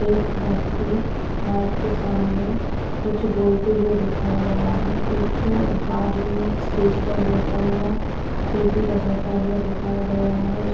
एक व्यक्ति माइक के सामने कुछ बोलते हुए दिखाया गया है एक बाजू में स्टेज पर बैठा हुआ है पेटी बजता हुआ दिखाया गया है उस--